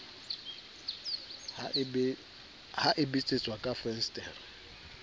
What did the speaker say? ha e betsetswa ka fensetere